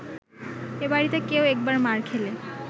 এ বাড়িতে কেউ একবার মার খেলে